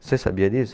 Você sabia disso?